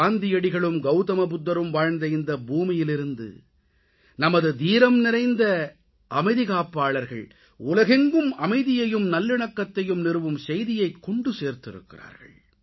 காந்தியடிகளும் கௌதமபுத்தரும் வாழ்ந்த இந்த பூமியிலிருந்து நமது தீரம்நிறை அமைதிக்காப்பாளர்கள் உலகெங்கும் அமைதியையும் நல்லிணக்கத்தையும் நிறுவும் செய்தியைக் கொண்டு சேர்த்திருக்கிறார்கள்